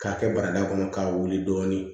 K'a kɛ barada kɔnɔ k'a wuli dɔɔnin